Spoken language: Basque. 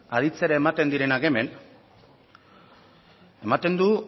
aditzera ematen direnak hemen ematen du